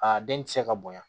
Aa den ti se ka bonya